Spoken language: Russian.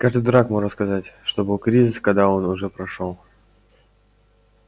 каждый дурак может сказать что был кризис когда он уже прошёл